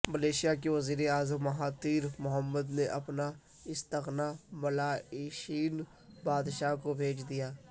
Malaysia کے وزیراعظم Mahathir Mohamad نے اپنا استعفی ملائیشین بادشاہ کو بھیج دیا